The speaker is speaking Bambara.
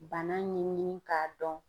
Bana ɲɛɲini k'a dɔn.